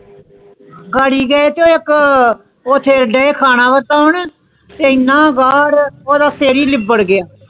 Garry ਗਏ ਥੇ ਇਕ ਓਥੇ ਡਏ ਖਾਣਾ ਵਟੋਉਣ ਇੰਨਾ ਗਰੁੜ ਥੇ ਓਦਾਂ ਸਿਰ ਹੀ ਪਿਬਰ ਗਯਾ